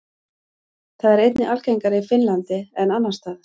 Það er einnig algengara í Finnlandi en annars staðar.